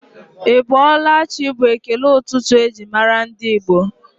Ị bọọla chi bụ ekele ụtụtụ eji mara ndị Igbo